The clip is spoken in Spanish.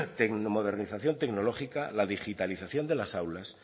la modernización tecnológica la digitalización de las aulas